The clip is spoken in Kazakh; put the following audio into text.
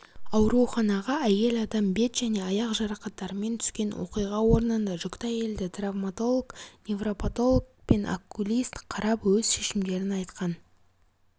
ауруханаға әйел адам бет және аяқ жарақаттарымен түскен оқиға орнында жүкті әйелді травматолог невропатолог пен окулист қарап өз шешімдерін айтқан